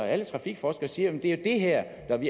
alle trafikforskere siger at det jo er det her